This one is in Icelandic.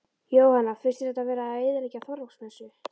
Jóhanna: Finnst þér þetta vera að eyðileggja Þorláksmessu?